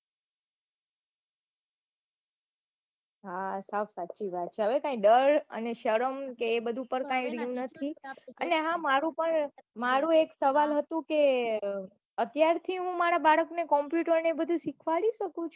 હા સાવ સાચી વાત છે હવે કાંઈ ડર અને શરમ કે એ બઘુ કાંઈ રહ્યું નથી એ હા મારું પન મારું એક સવાલ હતું કે અત્યાર થી હું મારા બાળક ને computer ને બઘુ સીખવાડ કે શું